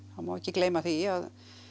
það má ekki gleyma því að